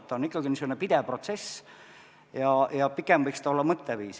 See on ikkagi pidev protsess ja pigem võiks ta olla mõtteviis.